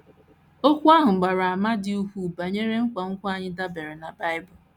Okwu ahụ gbara àmà dị ukwuu banyere nkwenkwe anyị dabeere na Bible.